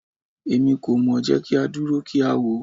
Emi ko mọ, jẹ ki a duro ki a wo